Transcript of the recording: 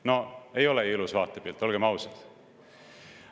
No ei ole ju ilus vaatepilt, olgem ausad.